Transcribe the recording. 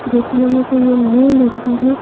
देखने में तो ये न्यू लग रही है।